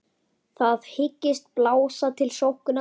Þið hyggist blása til sóknar?